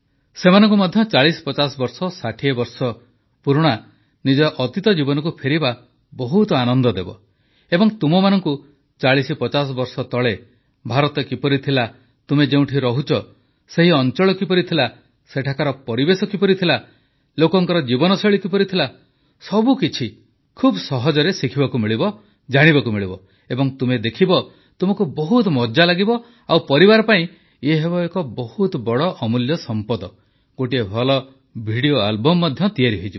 ସେମାନଙ୍କୁ ମଧ୍ୟ 4050 ବର୍ଷ 60 ବର୍ଷ ପୁରୁଣା ନିଜ ଅତୀତ ଜୀବନକୁ ଫେରିବା ବହୁତ ଆନନ୍ଦ ଦେବ ଏବଂ ତୁମମାନଙ୍କୁ 4050 ବର୍ଷ ତଳେ ଭାରତ କିପରି ଥିଲା ତୁମେ ଯେଉଁଠି ରହୁଛ ସେହି ଅଂଚଳ କିପରି ଥିଲା ସେଠିକାର ପରିବେଶ କିପରି ଥିଲା ଲୋକଙ୍କ ଜୀବନଶୈଳୀ କିପରି ଥିଲା ସବୁକିଛି ବହୁତ ସହଜରେ ଶିଖିବାକୁ ମିଳିବ ଜାଣିବାକୁ ମିଳିବ ଏବଂ ତୁମେ ଦେଖିବ ତୁମକୁ ବହୁତ ମଜା ଲାଗିବ ଆଉ ପରିବାର ପାଇଁ ଇଏ ହେବ ଏକ ବହୁତ ବଡ଼ ଅମୂଲ୍ୟ ସମ୍ପଦ ଗୋଟିଏ ଭଲ ଭିଡିଓ ଆଲବମ୍ ମଧ୍ୟ ତିଆରି ହୋଇଯିବ